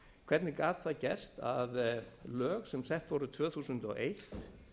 hvernig gat það gerst að lög sem sett voru tvö þúsund og eitt